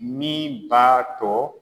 Min b'a to